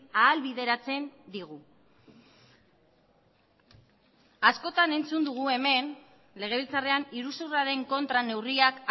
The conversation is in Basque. ahalbideratzen digu askotan entzun dugu hemen legebiltzarrean iruzurraren kontra neurriak